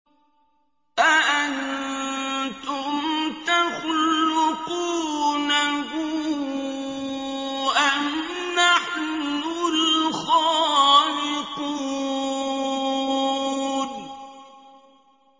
أَأَنتُمْ تَخْلُقُونَهُ أَمْ نَحْنُ الْخَالِقُونَ